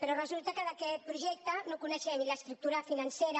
però resulta que d’aquest projecte no en coneixem ni l’estructura financera